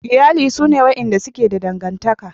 Iyali sune wadanda suke da dangantaka.